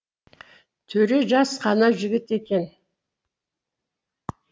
төре жас қана жігіт екен